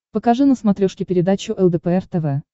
покажи на смотрешке передачу лдпр тв